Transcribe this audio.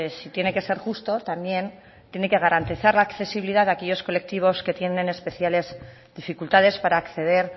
si tiene que ser justo también tiene que garantizar la accesibilidad de aquellos colectivos que tienen especiales dificultades para acceder